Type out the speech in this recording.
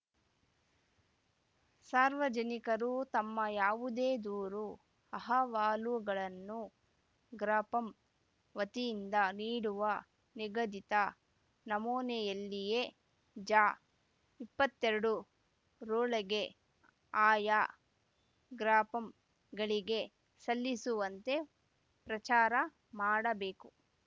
ಸಾರ್ವಜನಿಕರು ತಮ್ಮ ಯಾವುದೇ ದೂರು ಅಹವಾಲುಗಳನ್ನು ಗ್ರಾಪಂ ವತಿಯಿಂದ ನೀಡುವ ನಿಗದಿತ ನಮೂನೆಯಲ್ಲಿಯೇ ಜ ಇಪ್ಪತ್ತೆರಡು ರೊಳಗೆ ಆಯಾ ಗ್ರಾಪಂಗಳಿಗೆ ಸಲ್ಲಿಸುವಂತೆ ಪ್ರಚಾರ ಮಾಡಬೇಕು